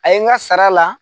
A ye n ka sara la